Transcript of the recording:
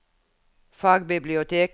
fagbibliotek